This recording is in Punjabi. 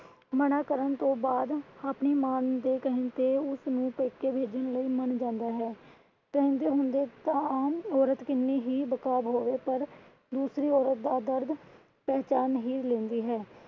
ਮਨਾ ਕਰਨ ਤੋਂ ਬਾਅਦ ਅਪਣੀ ਮਾਂ ਦੇ ਕਹਿਣ ਤੇ ਉਸਨੂੰ ਪੇਕੇ ਭੇਜਣ ਲਈ ਮਨ ਜਾਂਦਾ ਹੈ। ਕਹਿੰਦੇ ਹੁੰਦੇ ਸਨ ਔਰਤ ਕਿੰਨੀ ਵੀ ਬੇਕਾਰ ਹੋਵੇ ਪਰ ਦੂਸਰੀ ਔਰਤ ਦਾ ਦਰਦ ਪਹਿਚਾਨ ਹੀ ਲੈਂਦੀ ਹੈ।